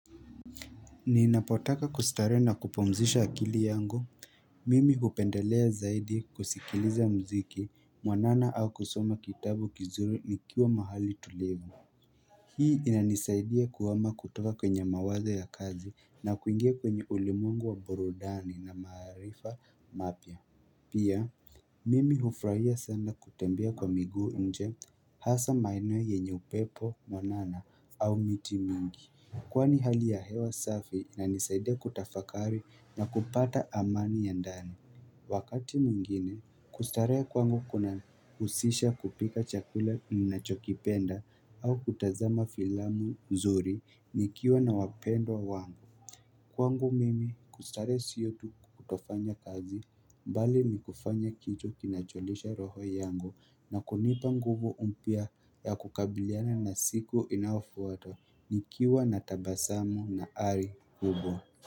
Ni napotaka kustarehe na kupumzisha akili yangu, mimi hupendelea zaidi kusikiliza mziki, mwanana au kusoma kitabu kizuri nikiwa mahali tulivu. Hii inanisaidia kuama kutoka kwenye mawazo ya kazi na kuingia kwenye ulimwengu wa burudani na maarifa mapya. Pia, mimi hufrahia sana kutembea kwa miguu nje hasa maeneo yenye upepo mwanana au miti mingi Kwani hali ya hewa safi na nisaidia kutafakari na kupata amani ya ndani Wakati mwingine, kustarehe kwangu kuna husisha kupika chakula nina chokipenda au kutazama filamu nzuri nikiwa na wapendwa wangu Kwangu mimi kustarehe siyotu kutofanya kazi mbali ni kufanya kitu kinacholisha roho yangu na kunipa nguvu mpya ya kukabiliana na siku inafu ata nikiwa na tabasamu na ari hubo.